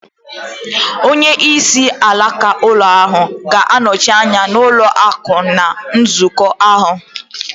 Onyeisi alaka ụlọ ọrụ ga-anọchi anya ụlọ akụ̀ ná nzukọ ahụ